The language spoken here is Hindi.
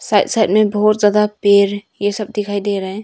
साइड साइड में बहुत ज्यादा पेड़ ये सब दिखाई दे रहे है।